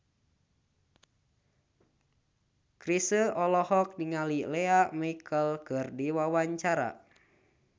Chrisye olohok ningali Lea Michele keur diwawancara